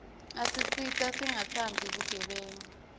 asisita singatsandzi bugebengu